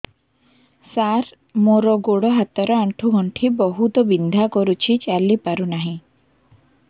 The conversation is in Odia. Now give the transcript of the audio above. ସାର ମୋର ଗୋଡ ହାତ ର ଆଣ୍ଠୁ ଗଣ୍ଠି ବହୁତ ବିନ୍ଧା କରୁଛି ଚାଲି ପାରୁନାହିଁ